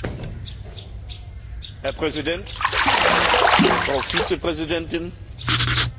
Herr Präsident, Frau Vizepräsidentin, liebe Kolleginnen und Kollegen!